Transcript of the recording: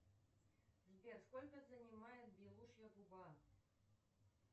сбер сколько занимает белушья губа